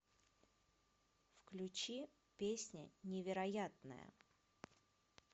включи песня невероятная